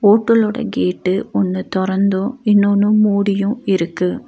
ஹோட்டல்லோட கேட்டு ஒன்னு தொறந்து இன்னொன்னு மூடியு இருக்கு.